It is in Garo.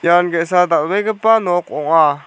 ian ge·sa dal·begipa nok ong·a.